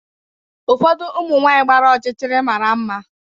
Ụfọdụ ụmụ nwanyị gbara ọchịchịrị mara mma.